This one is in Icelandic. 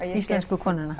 Íslensku konuna